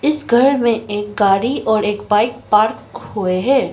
इस घर में एक गाड़ी और एक बाइक पार्क हुए हैं।